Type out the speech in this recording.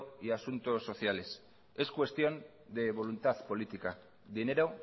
y asuntos sociales es cuestión de voluntad política dinero